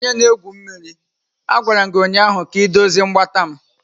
Onye na-egwu mmiri, a gwara m gị ụnyaahụ ka m dozie mgbata m!